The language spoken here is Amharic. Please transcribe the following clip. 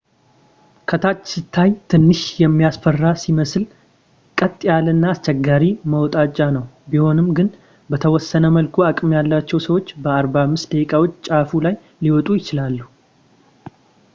ከታች ሲታይ ትንሽ የሚያስፈራ ሲመስል ቀጥ ያለና አስቸጋሪ መውጣጫ ነው ቢሆንም ግን በተወሰነ መልኩ አቅም ያላቸው ሰዎች በ45 ደቂቃዎች ጫፉ ላይ ሊወጡ ይችላሉ